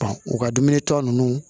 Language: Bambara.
u ka dumuni ta ninnu